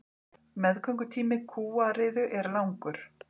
Meðgöngutími kúariðu er langur.